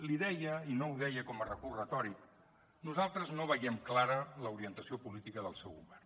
li deia i no ho deia com a recurs retòric nosaltres no veiem clara l’orientació política del seu govern